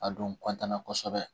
A don na kosɛbɛ